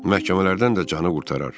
Məhkəmələrdən də canı qurtarar.